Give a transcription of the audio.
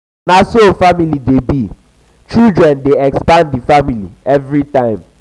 na so family dey be children dey expand di family everytime.